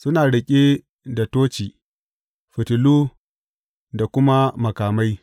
Suna riƙe da toci, fitilu da kuma makamai.